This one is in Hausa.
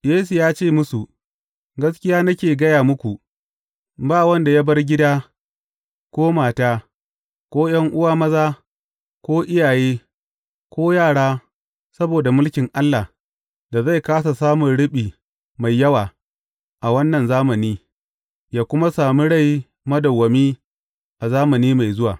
Yesu ya ce musu, Gaskiya nake gaya muku, ba wanda ya bar gida, ko mata, ko ’yan’uwa maza, ko iyaye, ko yara, saboda mulkin Allah, da zai kāsa samun riɓi mai yawa, a wannan zamani, ya kuma sami rai madawwami a zamani mai zuwa.